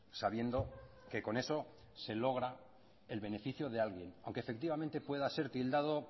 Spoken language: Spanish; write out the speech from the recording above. sabiendo que con eso se logra el beneficio de alguien aunque efectivamente pueda ser tildado